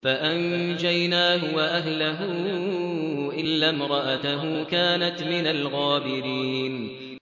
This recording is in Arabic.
فَأَنجَيْنَاهُ وَأَهْلَهُ إِلَّا امْرَأَتَهُ كَانَتْ مِنَ الْغَابِرِينَ